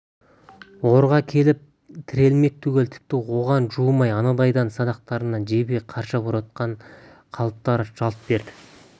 орға келіп тірелмек түгіл тіпті оған жуымай анандайдан садақтарынан жебе қарша боратқан қалыптары жалт береді